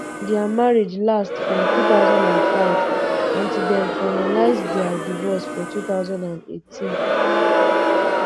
dia marriage last from um two thousand and five until dem finalise um dia divorce for two thousand and eighteen